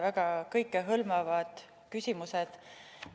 Väga kõikehõlmavad küsimused.